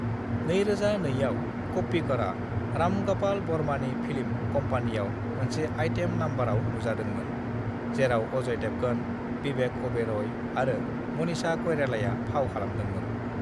"2002 आव, क'प्पिकरा राम ग'पाल बार्मानि फिल्म कम्पानीआव मोनसे आइटेम नम्बराव नुजादोंमोन, जेराव अजय देवगन, विवेक अबेरय आरो मनीषा कइरालाया फाव खालामदोंमोन।"